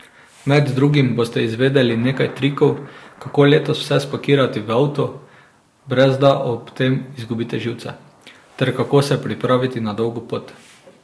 Med drugim boste izvedeli nekaj trikov, kako letos vse spakirati v avto, brez da ob tem izgubite živce, ter kako se pripraviti na dolgo pot.